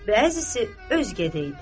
Bəzisi özkədə idi.